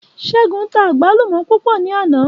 Ṣégun tá àgbálùmò púpò ní àná.